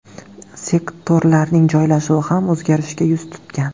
Sektorlarning joylashuvi ham o‘zgarishga yuz tutgan.